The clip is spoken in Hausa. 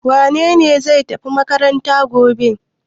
Wane ne zai tafi makaranta gobe?